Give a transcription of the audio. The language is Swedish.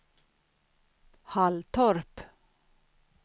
Halltorp